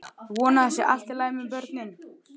Ég vona að það sé allt í lagi með börnin.